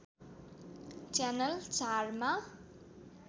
channel ४ मा